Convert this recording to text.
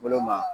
Bolo ma